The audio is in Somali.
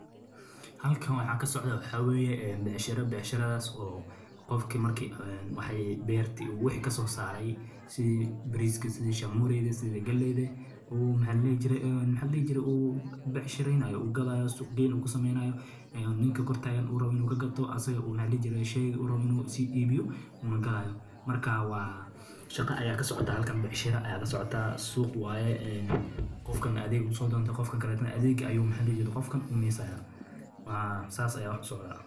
Nidaamka suuq-geynta hufan waa hab dhaqaale oo ay macluumaadka dhammaan suuqyada si siman oo degdeg ah u gaaraan dhammaan ka-qaybgalayaasha, taasoo keenaysa in qiimaha badeecadaha iyo adeegyada si dhab ah u muujiyaan dhammaan macluumaadka la heli karo, taasoo suurtagal ka dhigaysa in aanay jirin cid si fudud uga faa’iidaysan karta suuqyada iyadoo aan haysan xog gaar ah.